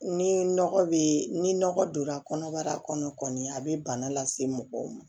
Ni nɔgɔ be ni nɔgɔ donna kɔnɔbara kɔnɔ kɔni a be bana lase mɔgɔw ma